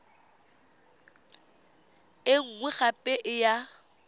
e nngwe gape e ya